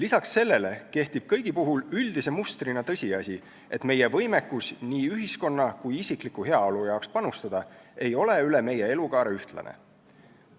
Peale selle kehtib kõigi puhul üldise mustrina tõsiasi, et meie võimekus nii ühiskonda kui ka isiklikku heaollu panustada ei ole üle meie elukaare ühtlane.